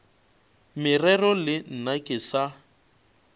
morero le nna ke sa